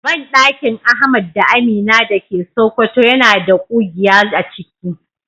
Bandakin Ahmad da Amina dake Sokoto yana da kugiya aciki.